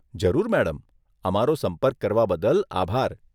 જરૂર મેડમ, અમારો સંપર્ક કરવા બદલ આભાર.